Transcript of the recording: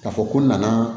K'a fɔ ko n nana